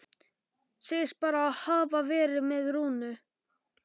Segist bara hafa verið með Rúnu.